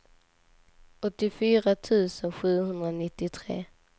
åttiofyra tusen sjuhundranittiotre